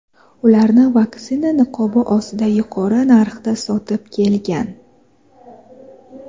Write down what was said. ularni vaksina niqobi ostida yuqori narxda sotib kelgan.